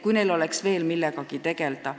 Noortel peab olema veel millegagi tegelda.